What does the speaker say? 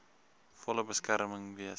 volle beskerm wees